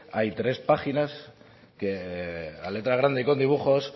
hay tres páginas que a letra grande y con dibujos